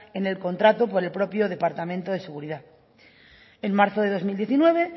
en el contrato por el propio departamento de seguridad en marzo de dos mil diecinueve